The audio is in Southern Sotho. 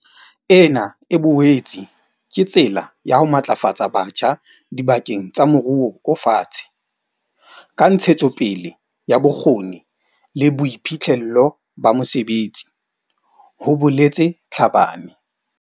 Ena e boetse ke tsela ya ho matlafatsa batjha diba keng tsa moruo o fatshe ka ntshetsopele ya bokgoni le boiphihlello ba mosebetsi, ho boletse Tlhabane.